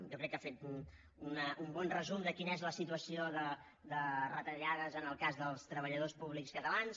jo crec que ha fet un bon resum de quina és la situació de retallades en el cas dels treballadors públics catalans